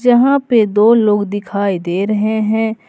यहां पे दो लोग दिखाई दे रहे हैं।